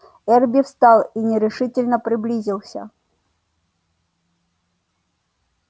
эрби встал и нерешительно приблизился